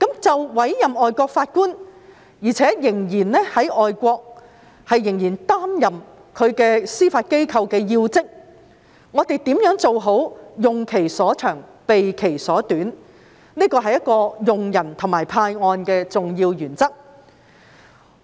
就委任仍然在外國司法機構擔任要職的外籍法官，我們如何能做好"用其所長，避其所短"，這是一個用人及派案的重要原則。